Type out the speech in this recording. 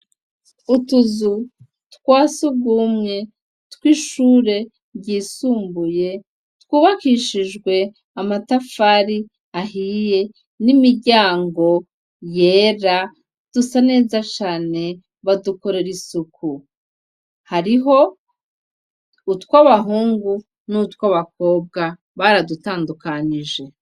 Utuzu twasugumwe twishure ryisumbuye twubakishijwe amatafari ahiye n'imiryango yera dusa neza cane badukorera isuku. Hariho utwabahungu n'utwabakobwa baradutandukanije.